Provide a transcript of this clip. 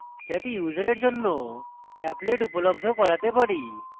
যাতে ইউসারের জন্য applet উপলব্ধ করাতে পারি